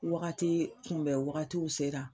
Wagati kunbɛn wagatiw sera